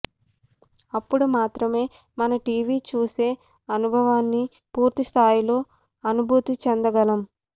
అప్పుడు మాత్రమే మనం టీవీ చూసే అనుభవాన్ని పూర్తి స్థాయిలో అనుభూతి చెందగలం